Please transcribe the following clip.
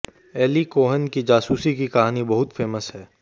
Eli Cohen की जासूसी की कहानी बहुत फेमस है